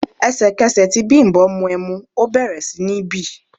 Ẹ̀sẹ̀kẹsẹ̀ tí Bimbo mu ẹmu, ó bẹ̀rẹ̀ sí ní bì.